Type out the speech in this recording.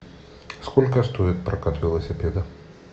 сколько стоит прокат велосипеда